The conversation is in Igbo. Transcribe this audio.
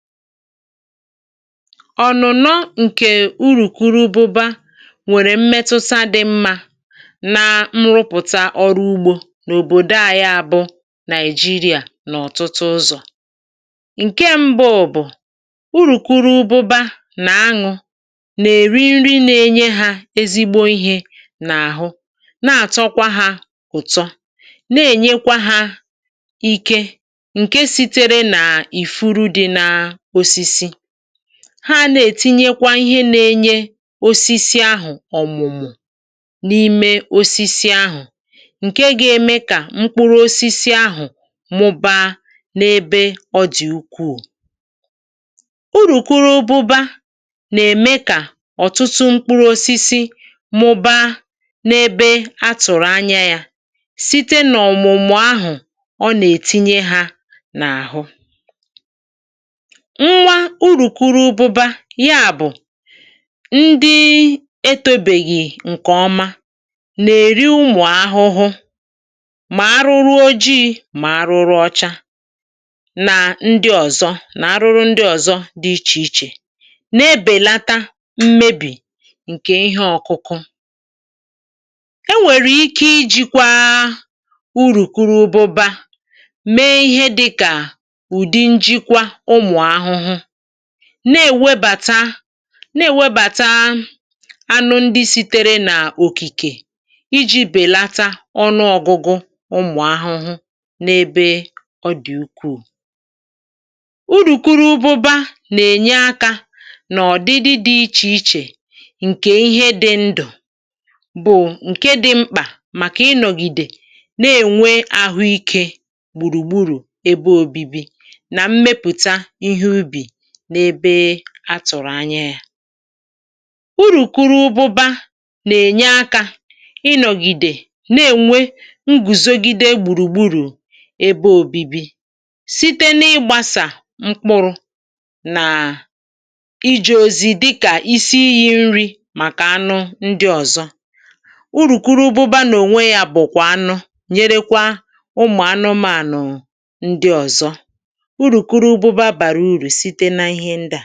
Ọnụ̀nọ ǹkè urùkwuru ụbụbȧ nwèrè mmetụsa dị̇ mmȧ na mrụpụ̀ta ọrụ ugbȯ n’òbòdo ànyị a bụ Nàị̀jịrịà n’ọ̀tụtụ ụzọ̀. Nke mbụ bụ̀, urùkwuru ụbụbȧ nà aṅụ, nà-èri nri na-enye hȧ ezigbo ihė nà àhụ na-àtọkwa hȧ ụ̀tọ, na-ènyekwa hȧ ike ǹke sitere nà ifuru dị na osisi, ha nà-ètinyekwa ihe nȧ-ėnyė osisi ahụ̀ ọ̀mụ̀mụ̀ n’ime osisi ahụ̀, ǹke gȧ-ėmė kà mkpụrụ osisi ahụ̀ mụbaa n’ebe ọ dị̀ ukwuu. Urùkwụrụ ụbụba nà-ème kà ọ̀tụtụ mkpụrụ̇ osisi mụbaa n’ebe atụ̀rụ̀ anya yȧ, site nà ọ̀mụ̀mụ̀ ahụ̀ ọ nà-ètinye hȧ n’àhụ. Nwa urùkwuru ụbụba, yà bụ̀ ndị etobèghì ǹkè ọma, nà-èri ụmụ̀ ahụhụ mà arụrụ ojii̇ mà arụrụ ọcha, nà ndị ọ̀zọ, nà-arụrụ ndị ọ̀zọ dị ichè ichè, nà-ebèlata mmebì ǹkè ihe ọ̀kụkụ. E nwèrè ike iji̇kwȧ urùkwuru ụbụba mee ihe dịkà ùdi njikwa ụmụ̀ ahụhụ, na-ènwebàta, na-ènwebàta anụ ndị siteere nà òkìkè iji̇ bèlata ọnụọgụgụ ụmụ̀ ahụhụ n’ebe ọ dị̀ ukwù. Urùkwuru ụbụba nà-ènye akȧ nà ọ̀dịdị dị̇ ichè ichè ǹkè ihe dị̇ ndụ̀ bụ̀ ǹke dị̇ mkpà màkà ịnọ̀gìdè na-ènwe ahụikė gbùrùgburù ebe òbibi, na mmepụta ihe ubi n’ebe a tụ̀rụ̀ anya yȧ. Urùkwuru ụbụba nà-ènye akȧ ịnọ̀gìdè nà-ènwe ngùzogide gbùrùgburù ebe òbibi, site n’ịgbȧsà mkpụrụ̇ nà iji̇ ozi dịkà isi iyi̇ nri màkà anụ ndị ọ̀zọ. Urùkwuru ụbụba nà-ònwe yȧ bụ̀kwà anụ nyerekwa ụmụ̀ anụmanụ̀ ndị ọ̀zọ. Urùkwuru ụbụba bara uru site na ihe ndị a.